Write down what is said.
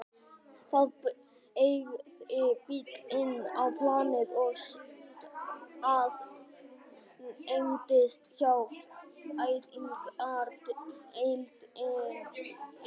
Það beygði bíll inn á planið og staðnæmdist hjá fæðingardeildinni.